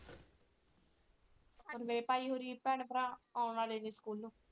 ਹੁਣ ਮੇਰੇ ਭਾਈ ਹੋਰੀ ਭੈਣ ਭਰਾ ਆਉਣ ਵਾਲੇ ਨੇ school ਤੋਂ।